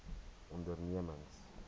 ondernemings